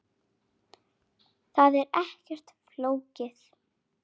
Það er ekkert flókið.